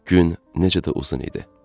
Gün necə də uzun idi.